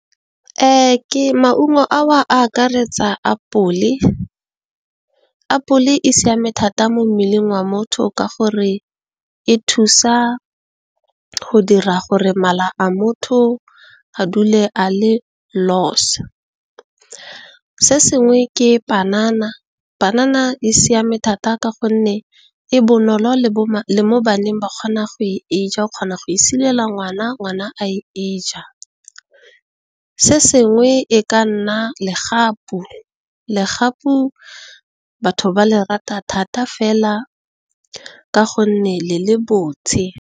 Maungo ao a akaretsa apole, apole e siame thata mo mmeleng wa motho ka gore e thusa go dira gore mala a motho a dule a le los. Se sengwe ke panana, panana e siame thata ka gonne e bonolo le mo baneng ba kgona go e ja, o kgona go e silela ngwana, ngwana a e ja. Se sengwe e ka nna legapu, legapu batho ba le rata thata fela ka gonne le le botshe.